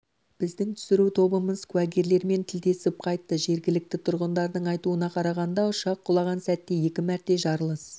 біздің түсіру тобымыз куәгерлермен тілдесіп қайтты жергілікті тұрғындардың айтуына қарағанда ұшақ құлаған сәтте екі мәрте жарылыс